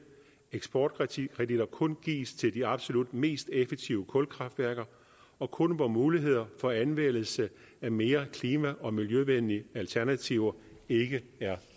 eksportkreditter kun gives til de absolut mest effektive kulkraftværker og kun hvor mulighed for anvendelse af mere klima og miljøvenlige alternativer ikke er